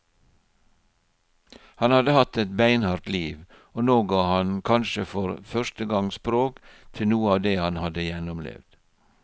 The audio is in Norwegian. Han hadde hatt et beinhardt liv, og nå ga han kanskje for første gang språk til noe av det han hadde gjennomlevd.